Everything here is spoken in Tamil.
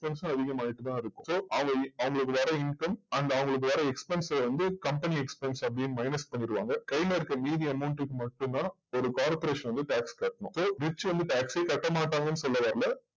expense வும் அதிகமாயட்டு தான் இருக்கும் so அவங் அவங்களோட வர income அந்த அவங்களுக்கு வர expense வந்து company expense அப்டியே minus பண்ணிடுவாங்க கைல இருக்க மீதி amount க்கு மட்டும் தான் ஒரு corporation வந்து tax கட்டனும் so rich வந்து tax சே கட்ட மாட்டாங்கன்னு சொல்ல வரல